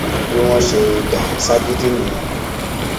bí wọn ṣe dá a ṣagídí nìyẹn